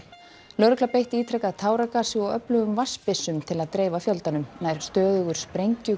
lögregla beitti ítrekað táragasi og öflugum til að dreifa fjöldanum nær stöðugur